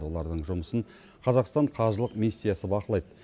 олардың жұмысын қазақстан қажылық миссиясы бақылайды